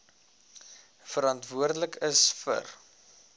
verantwoordelik is vir